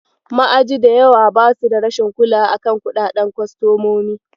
Ma'aji da yawa basu da rashin kulawa a kan kuɗaɗen kostomomi.